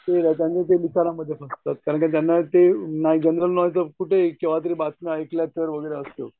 ठीक आहे त्यांनी ते लिखाणामध्ये फसतात. कारण का त्यांना ते नाही जनरल नॉलेज केंव्हातरी बातम्या ऐकल्या तर असं असतं.